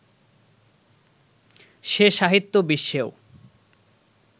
সে সাহিত্য বিশ্বেও